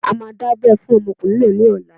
A máa dábẹ́ fún ọmọkùnrin náà ní ọ̀la.